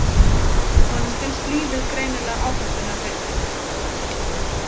Honum finnst lífið greinilega áhættunnar virði.